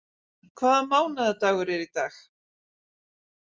Rún, hvaða mánaðardagur er í dag?